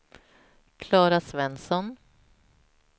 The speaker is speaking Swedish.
Klara Svensson